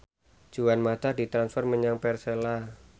Juan mata ditransfer menyang Persela